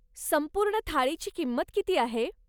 संपूर्ण थाळीची किंमत किती आहे?